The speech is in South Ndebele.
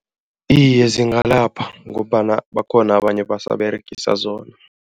Iye, zingalapha ngombana bakhona abanye abasaberegisa zona.